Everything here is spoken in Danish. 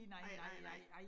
Nej nej nej